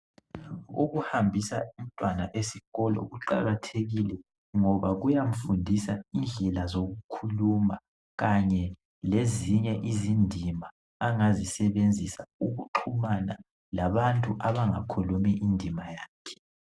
Ukuhambisa umntwana esikolo kuqakathekile ngoba kuyamfundisa indlela zokukhuluma kanye lezinye izindima angazisebenzisa ukuqumana labantu abangakhulumi indima yakhe